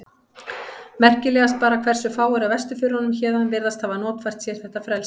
Merkilegast bara hversu fáir af vesturförunum héðan virðast hafa notfært sér þetta frelsi.